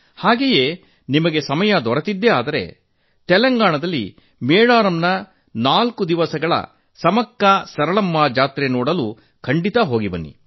ಹಾಗೆಯೇ ನಿಮಗೆ ಅವಕಾಶ ಸಿಕ್ಕರೆ ತೆಲಂಗಾಣದ ಮೇದಾರಂನ ನಾಲ್ಕು ದಿವಸಗಳ ಸಮಕ್ಕಾಸರಳಮ್ಮಾ ಜಾತ್ರೆ ನೋಡಲು ಖಂಡಿತಾ ಹೋಗಿ